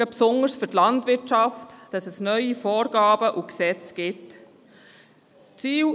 Besonders für die Landwirtschaft besteht die Gefahr, dass es neue Vorgaben und Gesetze geben wird.